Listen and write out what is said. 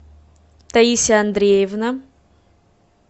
таисия андреевна